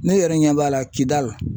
Ne yɛrɛ ɲɛ b'a la KIDALI